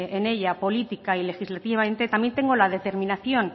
en ella política y legislativamente también tengo la determinación